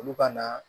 Olu ka na